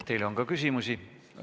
Teile on ka küsimusi.